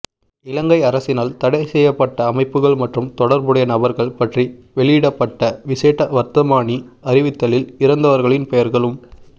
இலங்கை அரசினால் தடைசெய்யப்பட்ட அமைப்புக்கள் மற்றும் தொடர்புடைய நபர்கள் பற்றி வெளியிடப்பட்ட விசேட வர்த்தமானி அறிவித்தலில் இறந்தவர்களின் பெயர்களும்